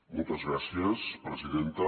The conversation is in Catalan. moltes gràcies presidenta